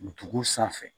Dugu sanfɛ